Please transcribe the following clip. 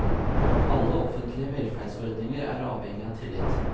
Alle offentlige velferdsordninger er avhengig av tillit.